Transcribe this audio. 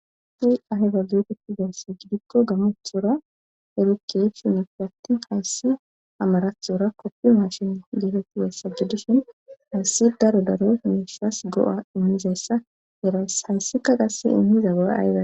hsi aheba luoketizayssa gidikko gammothora erikey shinifi attin hayssi amarathora koppio mashin geetettiwessajjudishin hayssi daro daro miissas go'a immizayssa heras hayssika qasse inhiza gaza ahza.